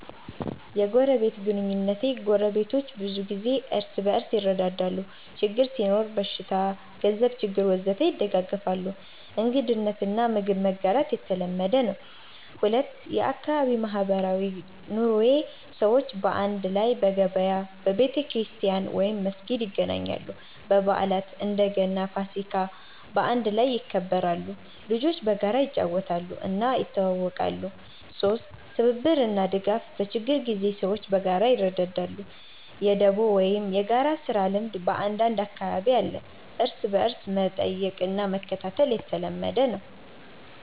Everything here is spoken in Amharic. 1. የጎረቤት ግንኙነቴ ጎረቤቶች ብዙ ጊዜ እርስ በርስ ይረዳዳሉ ችግር ሲኖር (በሽታ፣ ገንዘብ ችግር ወዘተ) ይደጋገፋሉ እንግድነት እና ምግብ መጋራት የተለመደ ነው 2. የአካባቢ ማህበራዊ ኑሮዬ ሰዎች በአንድ ላይ በገበያ፣ በቤተክርስቲያን/መስጊድ ይገናኛሉ በዓላት (እንደ ገና፣ ፋሲካ) በአንድ ላይ ይከበራሉ ልጆች በጋራ ይጫወታሉ እና ይተዋወቃሉ 3. ትብብር እና ድጋፍ በችግር ጊዜ ሰዎች በጋራ ይረዳዳሉ የ“ደቦ” ወይም የጋራ ስራ ልምድ በአንዳንድ አካባቢ አለ እርስ በርስ መጠየቅ እና መከታተል የተለመደ ነው